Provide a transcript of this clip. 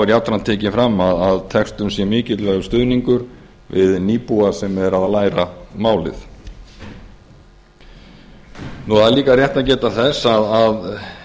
jafnframt tekið fram að textun sé mikilvægur stuðningur við nýbúa sem eru að læra málið það er líka rétt að geta þess að